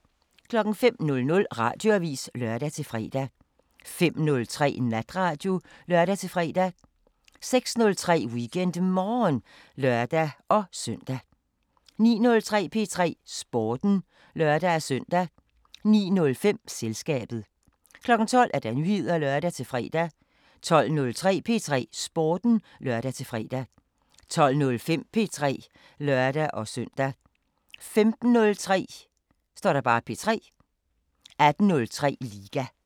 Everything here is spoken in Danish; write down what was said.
05:00: Radioavisen (lør-fre) 05:03: Natradio (lør-fre) 06:03: WeekendMorgen (lør-søn) 09:03: P3 Sporten (lør-søn) 09:05: Selskabet 12:00: Nyheder (lør-fre) 12:03: P3 Sporten (lør-fre) 12:05: P3 (lør-søn) 15:03: P3 18:03: Liga